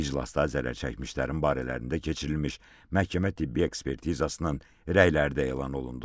İclasda zərərçəkmişlərin barələrində keçirilmiş məhkəmə tibbi ekspertizasının rəyləri də elan olundu.